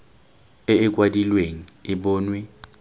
e e kwadilweng e bonwe